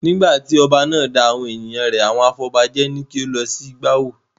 Nígbà tí ọba náà da awon ènìyàn rẹ̀ àwọn afọbajẹ ni kí ó lọ ṣí bá wó.